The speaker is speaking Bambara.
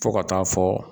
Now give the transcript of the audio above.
Fo ka taa fɔ